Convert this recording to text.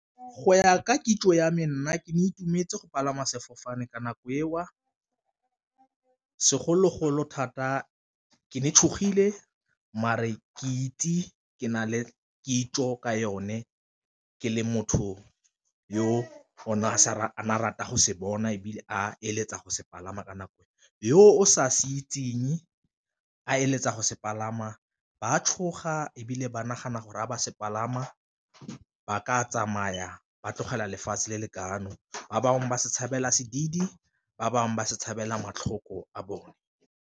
Go ya ka kitso ya me nna ne ke ne ke itumetse go palama sefofane ka nako eo, segologolo thata ke ne ke tshogile mare ke itse ke na le kitso ka yone ke le motho yo one a rata go se bona, ebile a eletsa go se palama ka nako. Yo o sa se itseng a eletsa go se palama batshoga ebile ba nagana gore a ba se palama ba ka tsamaya ba tlogela lefatshe le lekafano, ba bangwe ba se tshabela sedidi, ba bangwe ba se tshabela matlhoko a bone.